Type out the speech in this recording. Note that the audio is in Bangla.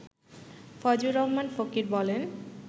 ফয়জুর রহমান ফকির বলেন